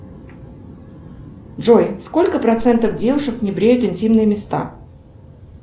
джой сколько процентов девушек не бреют интимные места